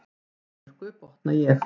Í Danmörku, botna ég.